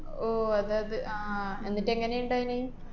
ഓ അതെയതെ. ആഹ് എന്നിട്ട് എങ്ങനെണ്ടായീന്?